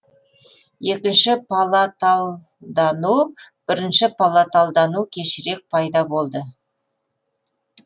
екінші палаталдану бірінші палаталдану кешірек пайда болды